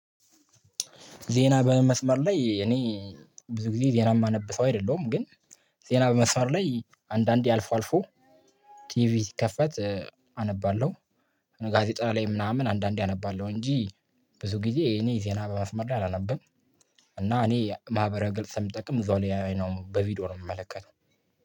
ዜና በመስመር ላይ እኔ ብዙ ጊዜ ዜና የማነብ ሰው አይደለሁም። ግን ዜና በመስመር ላይ አንዳንዴ አልፎ አልፎ ቲቪ ሲከፈት አነባለሁ። ጋዜጣ ላይ ምናምን አንዳንዴ አነባለሁ እንጂ ብዙ ጊዜ እኔ ዜና በመስመር ላይ አላነበም። እና እኔ ማህበራዊ ግልጽ ስምጠቅም ብዙ አይኖብ በቪዲዮ ነው የምመለከተው